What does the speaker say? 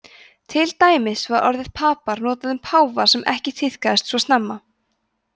til dæmis var orðið papa notað um páfa sem ekki tíðkaðist svo snemma